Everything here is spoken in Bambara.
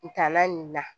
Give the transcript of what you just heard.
N taala nin na